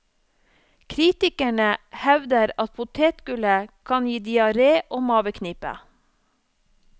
Kritikerne hevder at potetgullet kan gi diaré og maveknip.